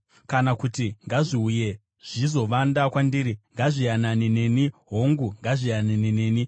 Kana kuti ngazviuye zvizovanda kwandiri; ngazviyanane neni, hongu, ngazviyanane neni.”